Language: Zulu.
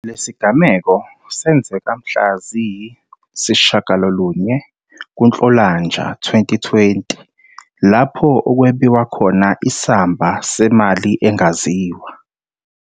Lesigameko senzeka mhla ziyi-9 kuNhlolanja 2020 lapho okwebiwa khona isamba semali esingaziwa.